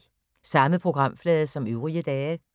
Samme programflade som øvrige dage